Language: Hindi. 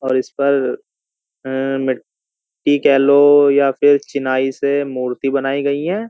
और इस पर मिट्टी येलो या फिर चिनाई से मूर्ति बनाई गई है।